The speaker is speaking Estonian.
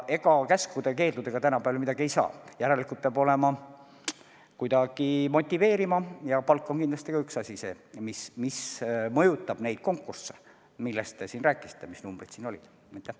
Ega käskude-keeldudega tänapäeval palju teha ei saa, järelikult peab kuidagi motiveerima ja palk on kindlasti üks asi, mis mõjutab neid konkursse, millest te siin rääkisite ja mille kohta numbrid tõite.